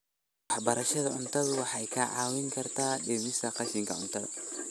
Waxbarashada cuntadu waxay kaa caawin kartaa dhimista qashinka.